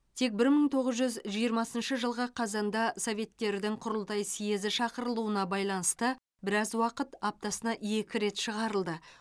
тек бір мың тоғыз жүз жиырмасыншы жылғы қазанда советтердің құрылтай сьезі шақырылуына байланысты біраз уақыт аптасына екі рет шығарылды